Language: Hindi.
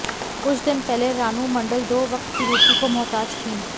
कुछ दिन पहले रानू मंडल दो वक्त की रोटी को मोहताज थी